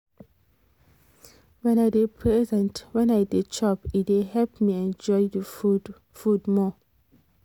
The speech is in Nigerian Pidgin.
when i dey present when i dey chop e dey help me enjoy the food food more